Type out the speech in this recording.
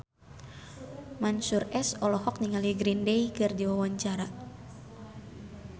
Mansyur S olohok ningali Green Day keur diwawancara